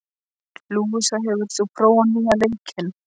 Lúísa, hefur þú prófað nýja leikinn?